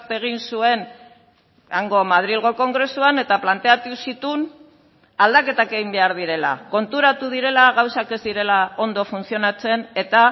egin zuen hango madrilgo kongresuan eta planteatu zituen aldaketak egin behar direla konturatu direla gauzak ez direla ondo funtzionatzen eta